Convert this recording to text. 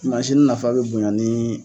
Mansini nafa bɛ bonya ni.